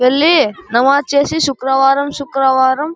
ఎల్లి నమాజ్ చేసి శుక్రవారం శుక్రవారం.